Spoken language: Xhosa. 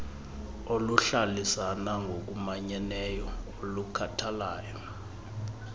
oluhlalisana ngokumanyeneyo olukhathalayo